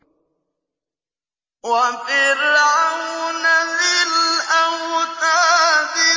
وَفِرْعَوْنَ ذِي الْأَوْتَادِ